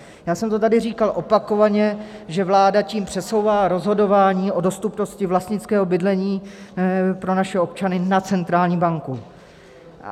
Já jsem to tady říkal opakovaně, že vláda tím přesouvá rozhodování o dostupnosti vlastnického bydlení pro naše občany na centrální banku.